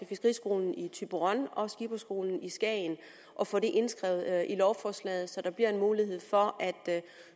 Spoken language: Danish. fiskeriskolen i thyborøn og skipperskolen i skagen og få det indskrevet i lovforslaget så der bliver mulighed for at